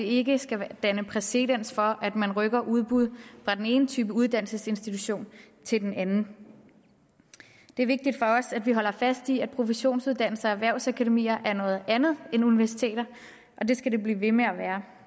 ikke skal danne præcedens for at man rykker udbuddet fra den ene type uddannelsesinstitution til den anden det er vigtigt for os at vi holder fast i at professionsuddannelser og erhvervsakademier er noget andet end universiteter det skal de blive ved med at være